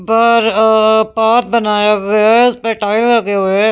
बाहर अह पार्ट बनाया गया है उसपे टाइल लगे हुए हैं।